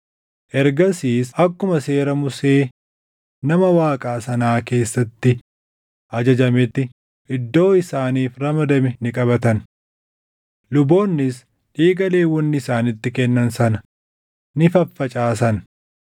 Ergasiis akkuma Seera Musee nama Waaqaa sanaa keessatti ajajametti iddoo isaaniif ramadame ni qabatan. Luboonnis dhiiga Lewwonni isaanitti kennan sana ni faffacaasan.